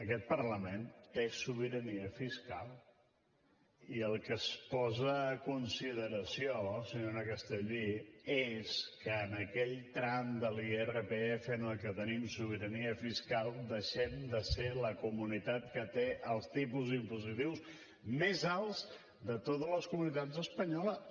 aquest parlament té sobirania fiscal i el que es posa a consideració senyora castellví és que en aquell tram de l’irpf en el que tenim sobirania fiscal deixem de ser la comunitat que té els tipus impositius més alts de totes les comunitats espanyoles